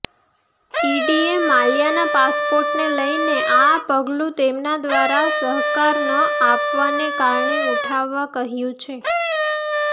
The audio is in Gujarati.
ઈડીએ માલ્યાના પાસપોર્ટને લઈને આ પગલું તેમના દ્વારા સહકાર ન આપવાને કારણે ઉઠાવવા કહ્યું છે